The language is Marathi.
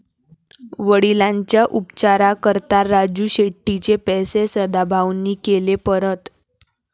वडिलांच्या उपचाराकरता राजू शेट्टींचे पैसे सदाभाऊंनी केले परत!